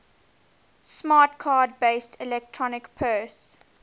smart card based electronic purse